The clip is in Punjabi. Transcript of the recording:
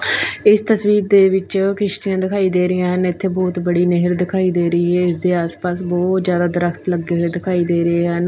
ਇਸ ਤਸਵੀਰ ਦੇ ਵਿੱਚ ਕਿਸ਼ਤੀਆਂ ਦਿਖਾਈ ਦੇ ਰਹੀਆਂ ਹਨ ਇੱਥੇ ਬਹੁਤ ਬੜੀ ਨਹਿਰ ਦਿਖਾਈ ਦੇ ਰਹੀ ਆ ਇਸ ਦੇ ਆਸ ਪਾਸ ਬਹੁਤ ਜਿਆਦਾ ਦਰਖਤ ਲੱਗੇ ਹੋਏ ਦਿਖਾਈ ਦੇ ਰਿਹਾ ਹਨ।